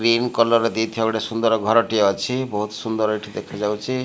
Green colour ଦେଇଥିବା ଗୋଟେ ସୁନ୍ଦର ଘର ଟିଏ ଅଛି। ବହୁତ୍ ସୁନ୍ଦର ଏଠି ଦେଖାଯାଉଛି।